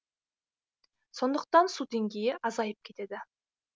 сондықтан су деңгейі азайып кетеді